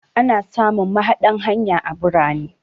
Ana samun mahaɗan hanya a birane.